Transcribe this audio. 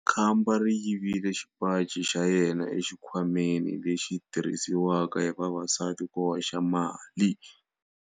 Khamba ri yivile xipaci xa yena exikhwameni lexi xi tirhisiwaka hi vavasati ku hoxa mali.